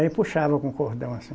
Aí puxava com cordão assim.